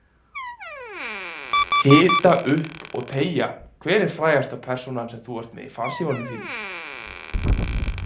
Hita upp og teygja Hver er frægasta persónan sem þú ert með í farsímanum þínum?